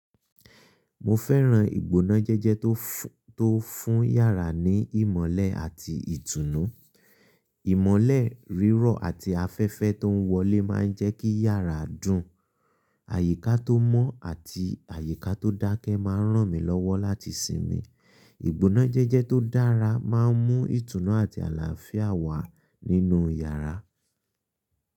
Mo fẹ́ran ìgbóná jẹ́jẹ́ tó fún yàrá ní ìmọ́lẹ̀ àti ìtùnú. Ìmọ́lẹ̀ rírọ̀ àti afẹ́fẹ́ tó n wọlé máa ń jẹ́ kí yàrá dùn. Àyíká tó mọ́ àti àyíká tó dákẹ́ máa ń ràn mí lọ́wọ́ láti sinmi. Ìgbóná jẹ́jẹ́ tó dára máa ń mú ìtùnú àti àlàáfíà wá nínú yàrá.